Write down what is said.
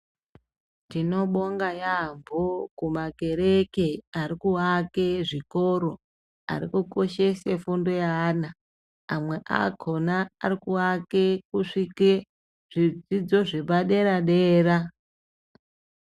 Tinobonga yambo kumakereke arikuvake zvikoro, arikukoshese fundo yeana amwe akona arikuwake kusvike zvidzidzo zvepadera dera.